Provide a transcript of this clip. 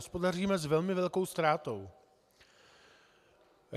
Hospodaříme s velmi velkou ztrátou.